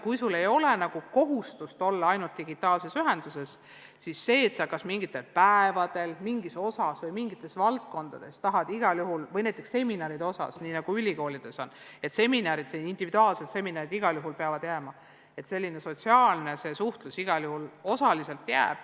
Kui ei ole kohustust olla ainult digitaalses ühenduses, siis mingitel päevadel, mingis osas või mingites valdkondades, näiteks seminaridega seoses – nii nagu on ülikoolides, kus seminarid, individuaalsed seminarid peavad igal juhul jääma –, jääb selline sotsiaalne suhtlus osaliselt alles.